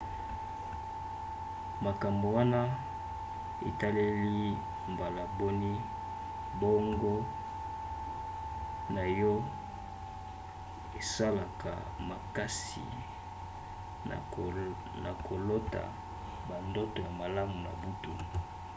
makambo wana etaleli mbala boni boongo na yo esalaka makasi na kolota bandoto ya malamu na butu